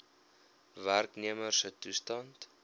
werknemer se toestand